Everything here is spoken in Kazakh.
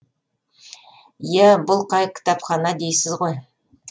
иә бұл қай кітапхана дейсіз ғой